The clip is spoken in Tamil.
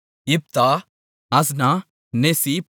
இப்தா அஸ்னா நெசீப்